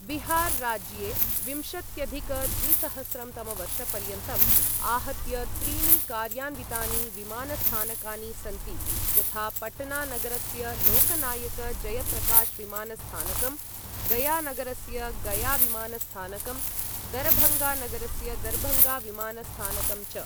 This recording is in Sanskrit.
बिहार राज्ये विंशत्यधिक द्विसहस्रं तमवर्षपर्यन्तम् आहत्य त्रीणि कार्यान्वितानि विमानस्थानकानि सन्ति यथा पटना नगरस्य लोकनायक जयप्रकाश विमानस्थानकं, गया नगरस्य गया विमानस्थानकं, दरभङ्गा नगरस्य दरभङ्गा विमानस्थानकं च।